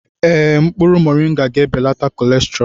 Ee, mkpụrụ moringa ga-ebelata cholesterol.